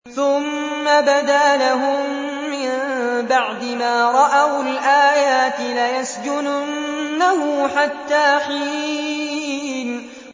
ثُمَّ بَدَا لَهُم مِّن بَعْدِ مَا رَأَوُا الْآيَاتِ لَيَسْجُنُنَّهُ حَتَّىٰ حِينٍ